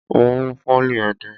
Mo mú pólì ẹdẹ.